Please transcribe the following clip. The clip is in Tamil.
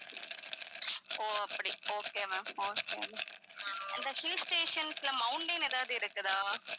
ஓ அப்படி okay ma'am okay ma'am அந்த hill stations ல mountain எதாவது இருக்குதா